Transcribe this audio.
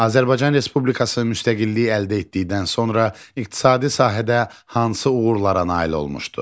Azərbaycan Respublikası müstəqilliyi əldə etdikdən sonra iqtisadi sahədə hansı uğurlara nail olmuşdu?